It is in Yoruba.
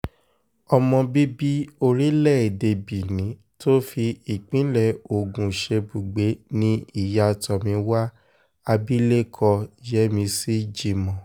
ọmọ bíbí orílẹ̀‐èdè benin tó fi ìpínlẹ̀ ogun ṣebùgbé ni ìyá tomiwa abilékọ yemini jimoh